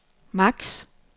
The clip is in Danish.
maks